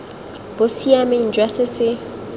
bo siameng jwa se se